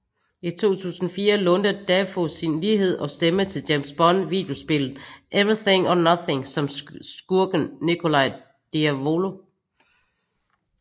I 2004 lånte Dafoe sin lighed og stemme til James Bond videospillet Everything or Nothing som skurken Nikolai Diavolo